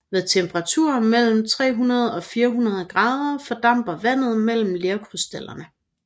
Ved temperaturer mellem 300 og 400 grader fordamper vandet mellem lerkrystallerne